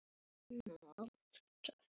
Er þetta ekki Svenni Þórðar?